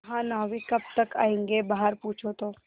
महानाविक कब तक आयेंगे बाहर पूछो तो